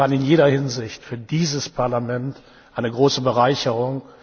Und Sie waren in jeder Hinsicht für dieses Parlament eine große Bereicherung.